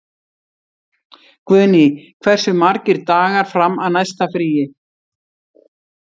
Guðný, hversu margir dagar fram að næsta fríi?